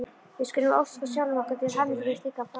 Við skulum óska sjálfum okkur til hamingju með slíkan frama!